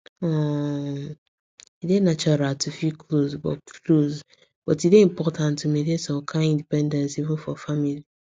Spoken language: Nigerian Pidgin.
um e dey natural to feel close but close but e dey important to maintain some kind independence even for family